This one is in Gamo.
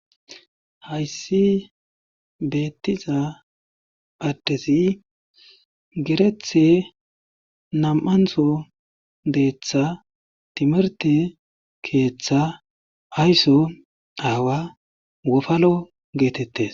hayssi beettiza addesi gerethe nam7antho deeththa timerte keeththa ayso aawa wofano geetettes